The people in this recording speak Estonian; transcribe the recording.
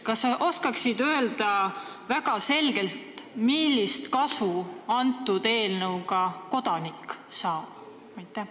Kas sa oskad väga selgelt öelda, millist kasu kodanik sellest eelnõust saab?